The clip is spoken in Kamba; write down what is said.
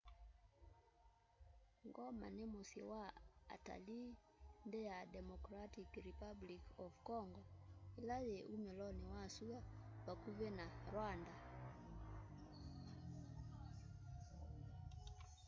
goma ni musyi wa atalii nthi ya democratic republic of congo ila yi umiloni wa sua vakuvi na rwanda